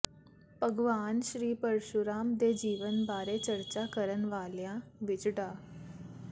ਭਗਵਾਨ ਸ੍ਰੀ ਪਰਸ਼ੂਰਾਮ ਦੇ ਜੀਵਨ ਬਾਰੇ ਚਰਚਾ ਕਰਨ ਵਾਲਿਆਂ ਵਿੱਚ ਡਾ